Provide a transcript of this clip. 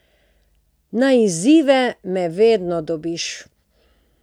Na izzive me vedno dobiš.